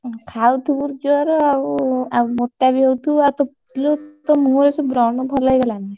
ଖାଉଥିବୁ ଜୋର ଆଉ ଆଉ ମୋଟା ବି ହଉଥିବୁ ଆଉ ତୋ ତୋ ମୁହଁଋ ସବୁ ବ୍ରଣ ଭଲ ହେଇଗଲାଣି?